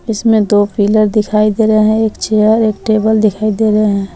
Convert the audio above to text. इसमें दो पिलर दिखाई दे रहे है एक चेयर एक टेबल दिखाई दे रहे है।